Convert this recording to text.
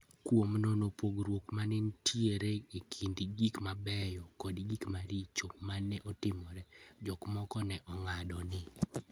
Kuom nono pogruok ma ne nitie e kind gik mabeyo kod gik maricho ma ne otimore, jomoko ne ong'ado ni: